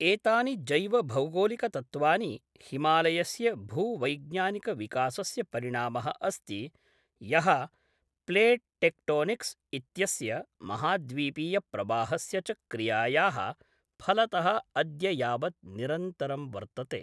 एतानि जैवभौगोलिकतत्त्वानि हिमालयस्य भूवैज्ञानिकविकासस्य परिणामः अस्ति यः प्लेट् टेक्टोनिक्स् इत्यस्य महाद्वीपीयप्रवाहस्य च क्रियायाः फलतः अद्य यावत् निरन्तरं वर्तते।